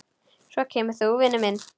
Svo kemur þú, minn vinur.